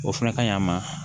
O fana ka ɲi a ma